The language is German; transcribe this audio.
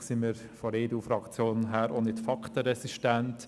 Schliesslich sind wir von der EDU-Fraktion auch nicht faktenresistent: